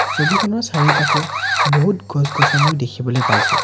ছবিখনৰ চাৰিওপাশে বহুত গছ গছনিও দেখিবলৈ পাইছোঁ।